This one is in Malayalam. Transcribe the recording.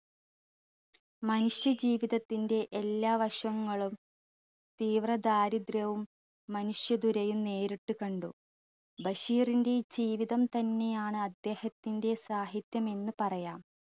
മനുഷ്യ ജീവിതത്തിന്റെ എല്ലാ വശങ്ങളും തീവ്ര ദാരിദ്ര്യവും മനുഷ്യദുരയും നേരിട്ടു കണ്ടു. ബഷീറിന്റെയി ജീവിതം തന്നെ ആണ് അദ്ദേഹത്തിന്റെ സാഹിത്യം എന്ന് പറയാം